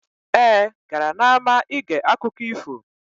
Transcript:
Ee, gara n'ama ige akụkọ ifo.